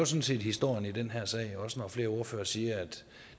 set historien i den her sag også når flere ordførere siger at